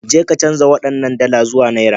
Jeka canza waɗannan dala zuwa naira.